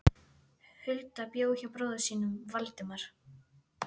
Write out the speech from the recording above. Hulda bjó hjá bróður sínum, Valdemar.